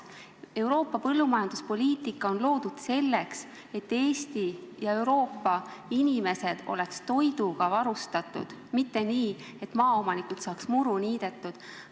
Euroopa Liidu põllumajanduspoliitika on loodud selleks, et Eesti ja Euroopa inimesed oleksid toiduga varustatud, mitte selleks, et maaomanikud saaksid muru niidetud.